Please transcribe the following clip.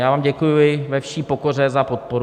Já vám děkuji ve vší pokoře za podporu.